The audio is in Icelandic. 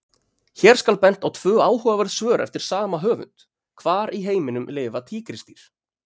Hér skal bent á tvö áhugaverð svör eftir sama höfund: Hvar í heiminum lifa tígrisdýr?